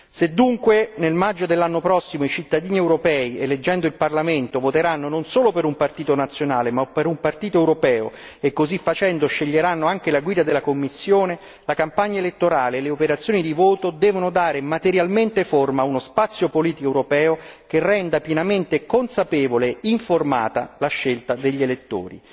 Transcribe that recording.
Se dunque nel maggio dell'anno prossimo i cittadini europei eleggendo il Parlamento voteranno non solo per un partito nazionale, ma per un partito europeo e così facendo sceglieranno anche la guida della Commissione, la campagna elettorale e le operazioni di voto devono dare materialmente forma ad uno spazio politico europeo che renda pienamente consapevole e informata la scelta degli elettori.